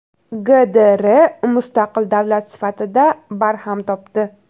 GDR mustaqil davlat sifatida barham topdi.